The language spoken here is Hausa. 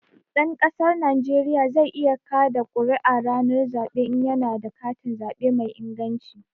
Ɗan ƙasar Najeriya zai iya ƙaɗa ƙuri'a ranar zaɓe in ya na da katin zaɓe mai inganci